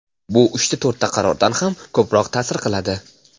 Bu uchta-to‘rtta qarordan ham ko‘proq taʼsir qiladi.